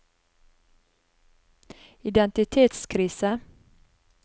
identitetskrise